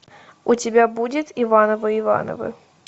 у тебя будет ивановы ивановы